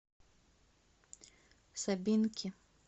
собинки